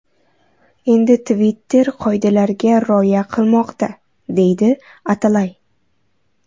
Endi Twitter qoidalarga rioya qilmoqda”, deydi Atalay.